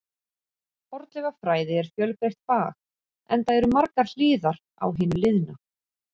Fornleifafræði er fjölbreytt fag, enda eru margar hliðar á hinu liðna.